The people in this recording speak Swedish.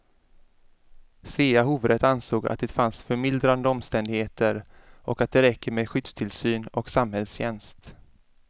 Svea hovrätt ansåg att det fanns förmildrande omständigheter och att det räcker med skyddstillsyn och samhällstjänst.